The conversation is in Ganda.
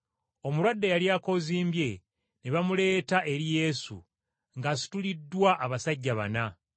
Omulwadde eyali akoozimbye ne bamuleeta eri Yesu ng’asituliddwa abasajja bana.